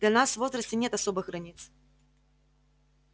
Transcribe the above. для нас в возрасте нет особых границ